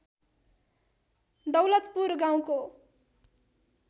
दौलतपुर गाउँको